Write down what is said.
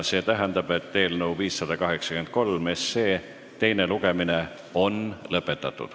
See tähendab, et eelnõu 583 teine lugemine on lõppenud.